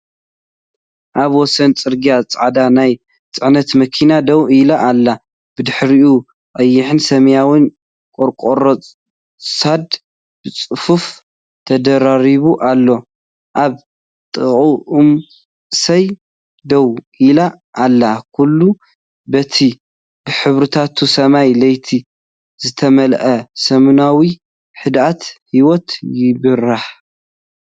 ኣብ ወሰን ጽርግያ ጻዕዳ ናይ ጽዕነት መኪና ደው ኢላ ኣላ። ብድሕሪኡ ቀይሕን ሰማያውን ቆርቆሮ ሶዳ ብጽፉፍ ተደራሪቡ ኣሎ። ኣብ ጥቓኣ ኦም ስየ ደው ኢላ ኣላ፡ ኩሉ በቲ ብሕብርታት ሰማይ ለይቲ ዝተመልአ ሰሙናዊ ህድኣት ህይወት ይበርህ።